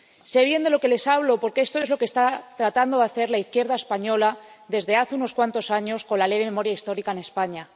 Sé bien de lo que les hablo, porque esto es lo que está tratando de hacer la izquierda española desde hace unos cuantos años, con la Ley de Memoria Histórica, en España.